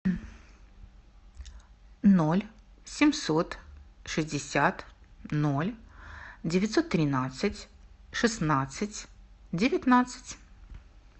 ноль семьсот шестьдесят ноль девятьсот тринадцать шестнадцать девятнадцать